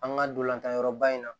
An ka dolantanyɔrɔ ba in na